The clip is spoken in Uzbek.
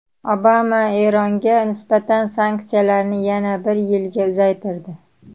Obama Eronga nisbatan sanksiyalarni yana bir yilga uzaytirdi.